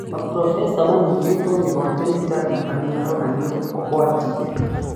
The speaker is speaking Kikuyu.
Maprofesa manyitĩtwe mĩgwate nĩ Taliban maronanwa kwa tv